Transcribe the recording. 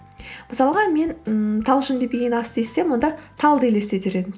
мысалға мен ммм талшын деп ең естісем онда талды елестетер едім